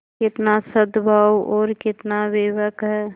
कितना सदभाव और कितना विवेक है